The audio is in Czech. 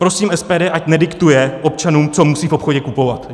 Prosím SPD, ať nediktuje občanům, co musí v obchodně kupovat.